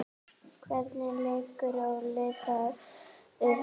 Hvernig leggur Óli það upp?